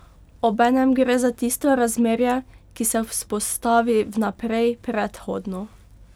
Obenem gre za tisto razmerje, ki se vzpostavi vnaprej, predhodno.